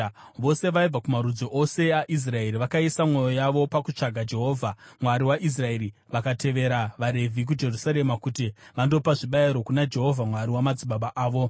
Vose vaibva kumarudzi ose aIsraeri vakaisa mwoyo yavo pakutsvaga Jehovha, Mwari waIsraeri, vakatevera vaRevhi kuJerusarema kuti vandopa zvibayiro kuna Jehovha Mwari wamadzibaba avo.